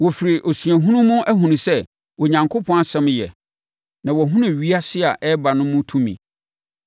Wɔfiri osuahunu mu ahunu sɛ Onyankopɔn asɛm yɛ, na wɔahunu ewiase a ɛreba no mu tumi.